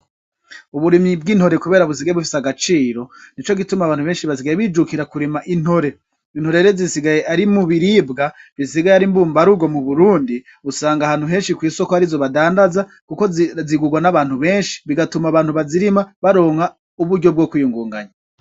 Uburimyi b'intore kubera busigaye bufise agaciro, nico gituma abantu benshi basigaye bijukira kurima intore. Intore rero zisigaye ari mu biribwa bisigaye ari mbumbarugo mu Burundi. Usanga ahantu henshi kw'isoko arizo badandaza kuko zigurwa n'abantu benshi, bigatuma abantu bazirima baronka uburyo bwo kwiyungunganya.